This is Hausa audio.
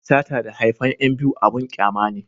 sata da haifan yan biyu abun kyama ne